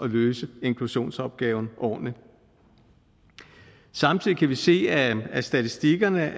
løse inklusionsopgaven ordentligt samtidig kan vi se af statistikkerne